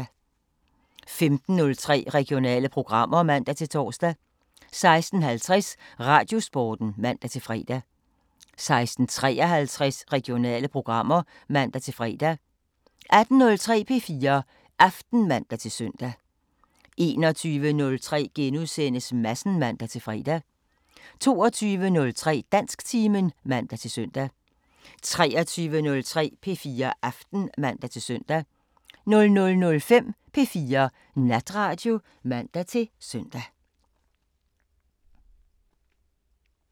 15:03: Regionale programmer (man-tor) 16:50: Radiosporten (man-fre) 16:53: Regionale programmer (man-fre) 18:03: P4 Aften (man-søn) 21:03: Madsen *(man-fre) 22:03: Dansktimen (man-søn) 23:03: P4 Aften (man-søn) 00:05: P4 Natradio (man-søn)